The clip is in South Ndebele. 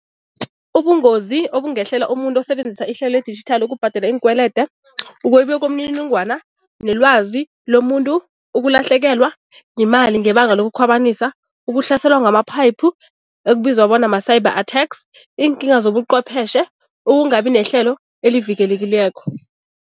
Ubungozi obungehlela umuntu osebenzisa ihlelo ledijithali ukubhadela iinkwelede, ukwebiwa kwemininingwana nelwazi lomuntu, ukulahlekelwa yimali ngebanga lokukhwabanisa, ukuhlaselwa ngama-pipe ekubizwa bona ma-cyber attacks, iinkinga zobuqhwepheshe, ukungabi nehlelo elivikelekileko.